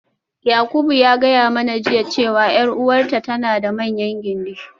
Yakubu ya gaya mana jiya cewa 'yar uwarta tana da manyan gindi.